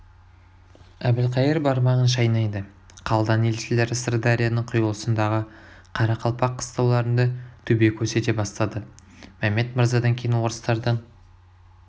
әбілқайыр бармағын шайнайды қалдан елшілері сырдарияның құйылысындағы қарақалпақ қыстауларында төбе көрсете бастады мәмед мырзадан кейін орыстардан